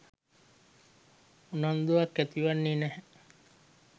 උනන්දුවක් ඇතිවන්නේ නැහැ.